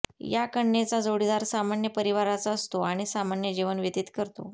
अशा कन्येचा जोडीदार सामान्य परिवाराचा असतो आणि सामान्य जीवन व्यतीत करतो